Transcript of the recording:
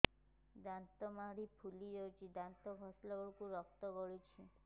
ଦାନ୍ତ ମାଢ଼ୀ ଫୁଲି ଯାଉଛି ଦାନ୍ତ ଘଷିଲା ବେଳକୁ ରକ୍ତ ଗଳୁଛି